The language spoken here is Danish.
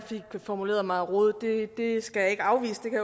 formulerede mig rodet det skal jeg ikke afvise det kan